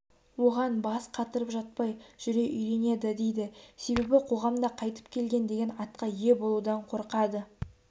оған бас қатырып жатпай жүре үйренеді дейді себебі қоғамда қайтып келген деген атқа ме болудан қорқады